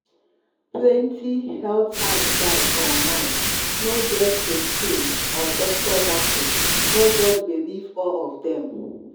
plenty health advice online no get kristine or doctor backing — no just believe or of dem.